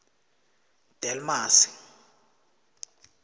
delmasi